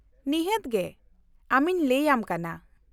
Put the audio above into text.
-ᱱᱤᱦᱟᱹᱛ ᱜᱮ, ᱟᱢᱤᱧ ᱞᱟᱭ ᱟᱢ ᱠᱟᱱᱟ ᱾